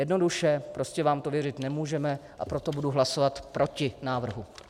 Jednoduše - prostě vám to věřit nemůžeme, a proto budu hlasovat proti návrhu.